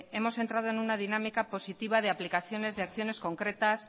hemos entrado en una dinámica positiva de aplicaciones de acciones concretas